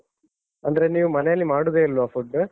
ಅಂದ್ರೆ ನೀವು ಮನೆಯಲ್ಲಿ ಮಾಡುವುದೇ ಇಲ್ವ food ?